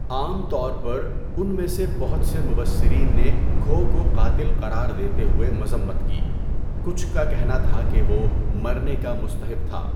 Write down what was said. عام طور پر، ان میں سے بہت سے مبصرین نے کھو کو قاتل قرار دیتے ہوئے مذمت کی، کچھ کا کہنا تھا کہ وہ مرنے کا مستحق تھا۔